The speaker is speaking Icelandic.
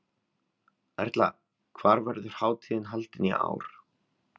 Erla, hvar verður hátíðin haldin í ár?